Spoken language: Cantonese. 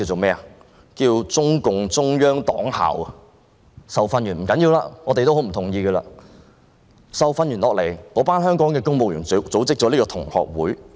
派公務員到大陸受訓也不要緊——雖然我們極不同意——但受訓後，那些香港公務員組織了這個同學會。